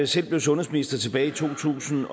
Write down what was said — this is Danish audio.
selv blev sundhedsminister tilbage i to tusind